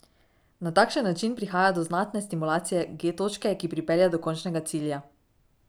Na takšen način prihaja do znatne stimulacije G točke, ki pripelje do končnega cilja.